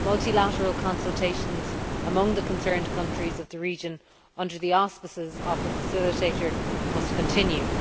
Multilateral consultations among the concerned countries of the region, under the auspices of the facilitator, must continue.